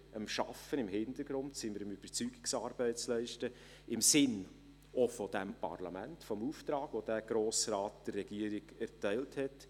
Dort sind wir im Hintergrund am Arbeiten und am Überzeugungsarbeit leisten, auch im Sinne dieses Parlaments und des Auftrags, den der Grosse Rat der Regierung erteilt hat.